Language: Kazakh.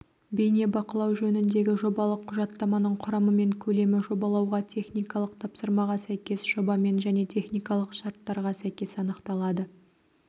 бейнебақылау жөніндегі жобалық құжаттаманың құрамы мен көлемі жобалауға техникалық тапсырмаға сәйкес жобамен және техникалық шарттарға сәйкес анықталады